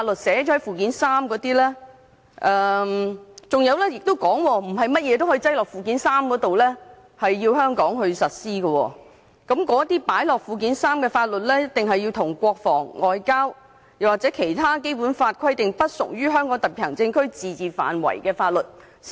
此外，不是甚麼法律也可以納入附件三並在香港實施，因為附件三所列法律必須與國防、外交和其他按《基本法》規定不屬於香港特區自治範圍的法律。